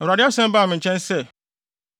Awurade asɛm baa me nkyɛn sɛ,